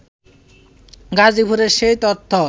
গাজীপুরে সেই তথ্য